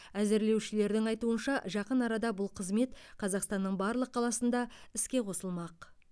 әзірлеушілердің айтуынша жақын арада бұл қызмет қазақстанның барлық қаласында іске қосылмақ